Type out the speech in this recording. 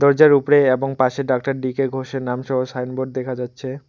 যার উপরে এবং পাশে ডক্টর ডি কে ঘোষের নাম সহ সাইনবোর্ড দেখা যাচ্ছে।